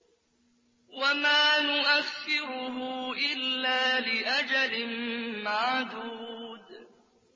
وَمَا نُؤَخِّرُهُ إِلَّا لِأَجَلٍ مَّعْدُودٍ